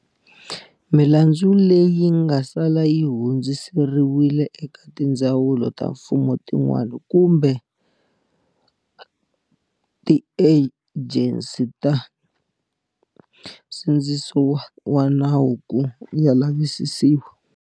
Milandzu leyi nga sala yi hundziseriwile eka tindzawulo ta mfumo tin'wana kumbe tiejensi ta nsindziso wa nawu ku ya lavisisiwa.